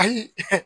Ayi